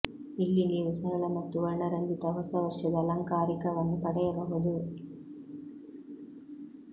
ಇಲ್ಲಿ ನೀವು ಸರಳ ಮತ್ತು ವರ್ಣರಂಜಿತ ಹೊಸ ವರ್ಷದ ಅಲಂಕಾರಿಕವನ್ನು ಪಡೆಯಬಹುದು